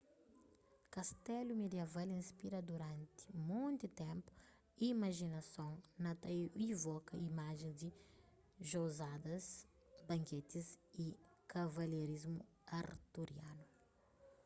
kastelu midiaval inspira duranti monti ténpu imajinason na ta ivoka imajens di jouzadas banketis y kavalherismu arturianu